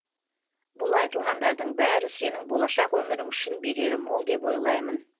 бұл айтылғандардың бәрі сенің болашақ өмірің үшін берері мол деп ойлаймын